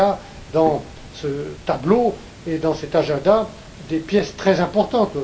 Et il y a, dans ce tableau et dans cet agenda, des pièces très importantes.